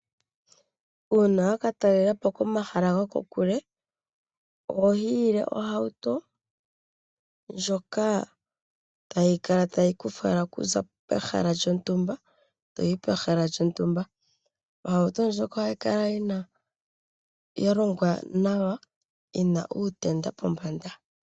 Uuna waka talelapo komahala go kokule, oho hiyile ohauto, ndjoka hayi kala tayi ku fala okuza pehala lyontumba toyi pehala lyontumba. Ohauto ndjoka oha yi kala ya longwa nawa, yina uutenda pombanda.